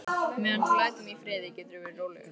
Meðan þú lætur mig í friði geturðu verið rólegur.